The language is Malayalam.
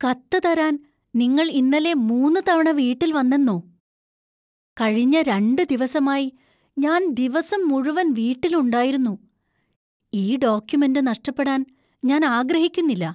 കത്ത് തരാൻ നിങ്ങൾ ഇന്നലെ മൂന്ന് തവണ വീട്ടിൽ വന്നെന്നോ ? കഴിഞ്ഞ രണ്ട് ദിവസമായി ഞാൻ ദിവസം മുഴുവൻ വീട്ടിലുണ്ടായിരുന്നു , ഈ ഡോക്യുമെന്റ് നഷ്ടപ്പെടാൻ ഞാൻ ആഗ്രഹിക്കുന്നില്ല.